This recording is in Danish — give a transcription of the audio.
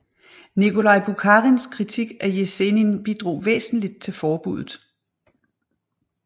Nikolaj Bukharins kritik af Jesenin bidrog væsentligt til forbuddet